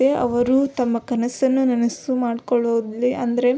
ಅವರು ತಮ್ಮ ಕನಸನ್ನು ನನಸು ಮಾಡ್ಕೊಳ್ಳುದರಲ್ಲಿ ಅಂದರೆ --